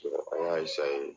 an y'a